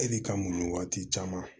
E de ka muɲu waati caman